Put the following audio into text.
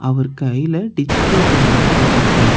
அவரு கைல digital pen வந்து வெச்சுருக்காரு.